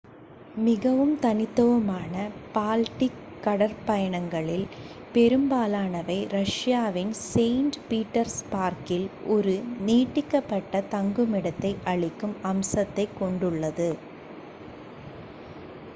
மிகவும் தனித்துவமான பால்டிக் கடற்பயணங்களில் பெரும்பாலானவை ரஷ்யாவின் செயின்ட் பீட்டர்ஸ்பர்க்கில் ஒரு நீட்டிக்கப்பட்ட தங்குமிடத்தை அளிக்கும் அம்சத்தைக் கொண்டுள்ளது